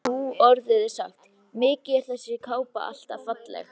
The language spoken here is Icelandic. Nú orðið er sagt: Mikið er þessi kápa alltaf falleg